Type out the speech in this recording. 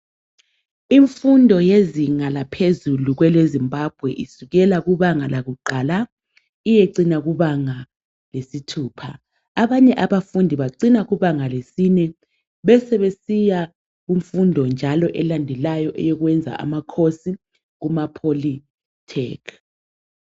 Imfundo yezinga laphezulu kweleZimbabwe isukela kubanga lakuqala iyecina kubanga lesithupha. Abanye abafundi bacina kubanga lesine besebesiya kumfundo njalo elandelayo eyokwenza ama course kuma Polytech